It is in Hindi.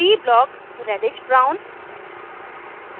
p blockरेडिश brown